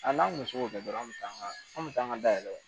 A n'an kun se k'o kɛ dɔrɔn an be taa an ga an be taa an ga dayɛlɛ